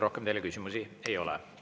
Rohkem teile küsimusi ei ole.